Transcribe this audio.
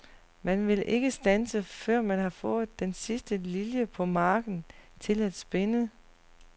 Man vil ikke standse, før man har fået den sidste lilje på marken til at spinde.